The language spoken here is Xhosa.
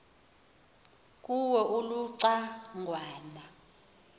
kuwo uluca ngwana